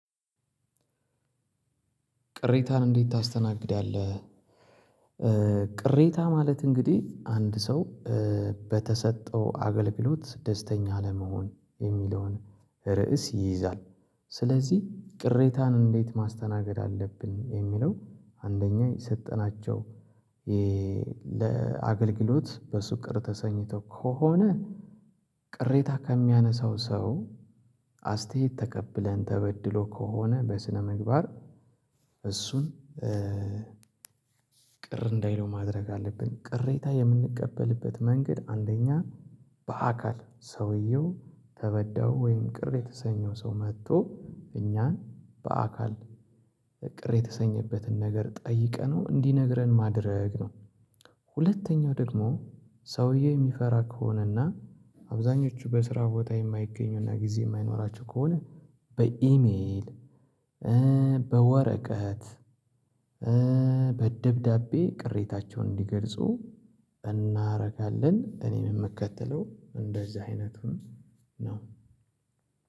ቅሬታን እንዴት ታስተናግዳለህ? ቅሬታ ማለት እንግዲህ አንድ ሰው በተሰጠው አገልግሎት ደስተኛ አለመሆን የሚለውን ርዕስ ይይዛል። ስለዚህ ቅሬታን እንዴት ማስተናገድ አለብን የሚለው አንደኛ የሰጠናቸው ለአገልግሎት በሱ ቅር ተሰኝተው ከሆነ ቅሬታ ከሚያነሳው ሰው አስተያየት ተቀብለን ተበድሎ ከሆነ በስነምግባር እሱን ቅር እንዳይለው ማድረግ አለብን። ቅሬታ የምንቀበልበት መንገድ አንደኛ በአካል ሰውየው ተበዳዩ ወይም ቅሬታ የተሰኘው ሰው መጥቶ እኛን በአካል ቅር የተሰኘበትን ነገር ጠይቀነው እንዲነግረን ማድረግ ነው። ሁለተኛው ደግሞ ሰውዬ የሚፈራ ከሆነና አብዛኞቹ በስራ ቦታ የማይገኙና ጊዜ የማይኖራቸው ከሆነ በኢሜል በወረቀት በደብዳቤ ቅሬታቸውን እንዲገልጹ እናደርጋለን። እኔም የምከተለው እንደዚህ አይነቱን ነው።